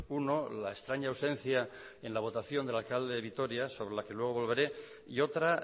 uno la extraña ausencia en la votación del alcalde de vitoria sobre la que luego volveré y otra